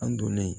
An donnen